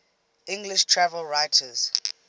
english travel writers